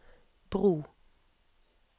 bro